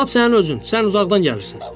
Lap sənin özün, sən uzaqdan gəlirsən.